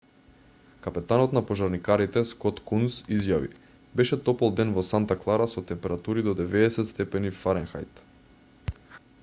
капетанот на пожарникарите скот кунс изјави: беше топол ден во санта клара со температури до 90°f